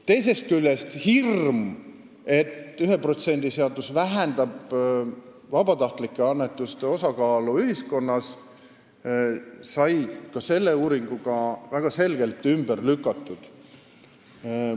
Teisest küljest sai selle uuringuga hirm, et 1% seadus vähendab vabatahtlike annetuste osakaalu ühiskonnas, väga selgelt ümber lükatud.